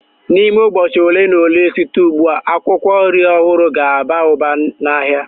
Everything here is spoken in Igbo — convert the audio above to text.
N'ime ụbọchị ole na ole site ugbu a, akwụkwọ nri ọhụrụ ga-aba ụba n'ahịa.